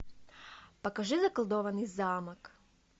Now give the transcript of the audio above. покажи заколдованный замок